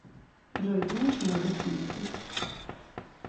джой знаешь малагасийский